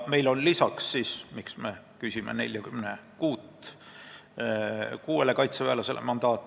Ja miks me küsime mandaati 46 kaitseväelasele?